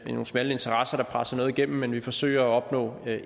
nogle smalle interesser der presser noget igennem men at vi forsøger at opnå